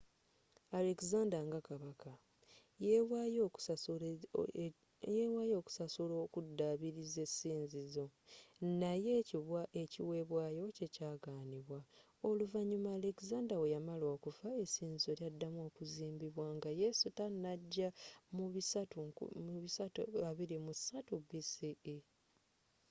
alexander nga kabaka yewaayo okusasula okudaabiriza essinzizo naye ekiwebwayo kye kyagaanibwa oluvanyuma alexander bweyamala okufa essinzizo lyaddamu okuzimbibwa nga yesu tanajja mu 323 bce